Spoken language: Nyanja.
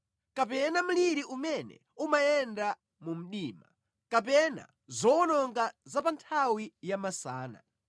kapena mliri umene umayenda mu mdima, kapena zowononga za pa nthawi ya masana.